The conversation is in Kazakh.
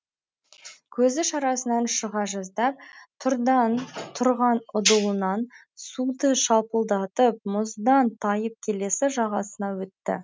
көзі шарасынан шыға жаздап тұрған ұдылынан суды шалпылдатып мұздан тайып келесі жағасына өтті